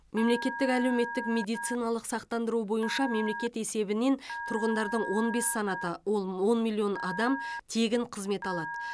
мемлекеттік әлеуметтік медициналық сақтандыру бойынша мемлекет есебінен тұрғындардың он бес санаты ол он миллион адам тегін қызмет алады